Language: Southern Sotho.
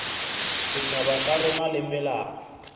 setjhaba sa rona le melao